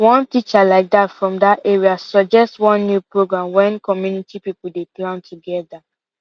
one teacher like that from that area suggest one new program when community people dey plan together